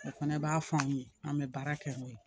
O fana b'a f'an ye an be baara kɛ n'o ye